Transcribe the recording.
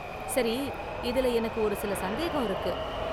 சரி, இதுல எனக்கு ஒருசில சந்தேகம் இருக்கு.